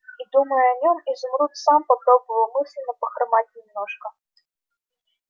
и думая о нем изумруд сам попробовал мысленно похромать немножко